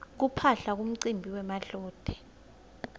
kuphaphla kumcimbi wemadloti